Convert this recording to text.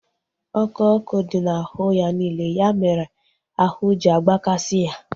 ọkụ ọkụ dị na ahụ ya niile. Ya mere ahụ ji agbakasi ya